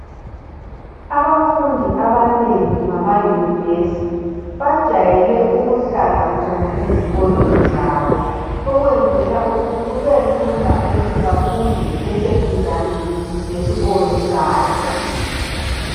Abafundi abanengi bama yunivesi bajayele ukuhlala khona ezikolweni zabo, okwenzela ukuthi kubelula ukuthi bafunde beseduzane esikolo sabo.